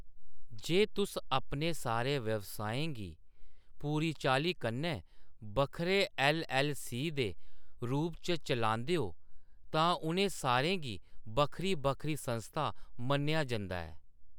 जे तुस अपने सारे व्यवसायें गी पूरी चाल्लीं कन्नै बक्खरे ऐल्ल.ऐल्ल. सी. दे रूप च चलांदे ओ, तां उ'नें सारें गी बक्खरी-बक्खरी संस्था मन्नेआ जंदा ऐ।